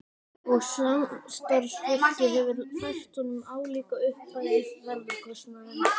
Og samstarfsfólkið hefur fært honum álíka upphæð í ferðakostnaðinn.